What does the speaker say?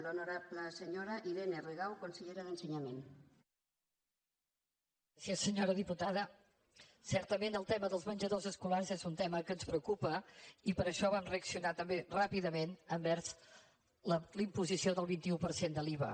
sí senyora diputada certament el tema dels menjadors escolars és un tema que ens preocupa i per això vam reaccionar també ràpidament envers la imposició del vint un per cent de l’iva